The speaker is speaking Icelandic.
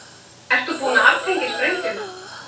Ert þú búin að aftengja sprengjuna?